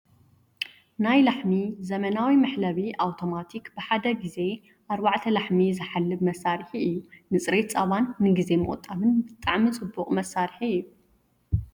ናይ ላሕሚ ዘመናዊ መሕለቢ ኣውቶማቲክ ብሓደ ግዜ ኣርባዕተ ላሕሚ ዝሓልብ መሳሪሒ እዩ። ንፅሬት ፃባን ንግዜ ምቁጣብን ብጣዕሚ ፅቡቅ መሳሪሒ እዩ።